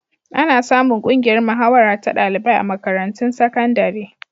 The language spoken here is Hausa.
Ana samun ƙungiyar mahawara ta ɗalibai a makarantun sakandare.